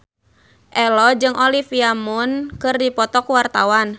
Ello jeung Olivia Munn keur dipoto ku wartawan